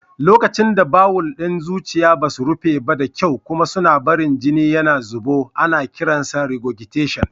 Lokacin da bawul ɗin zuciya ba su rufe da kyau kuma suna barin jini ya zubo, ana kiran shi regurgitation.